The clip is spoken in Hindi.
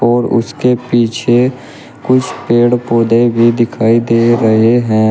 और उसके पीछे कुछ पेड़ पौधे भी दिखाई दे रहे हैं।